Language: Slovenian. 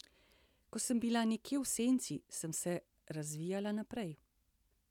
Ko sem bila nekje v senci, sem se razvijala naprej.